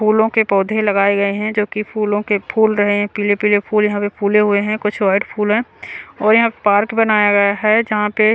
फूलों के पौधे लगाए गए हैं जो कि फूलों के फूल रहे हैं पीले-पीले फूल यहां पे फूले हुए हैं कुछ वाइट फूल है और यहां पार्क बनाया गया है जहां पे--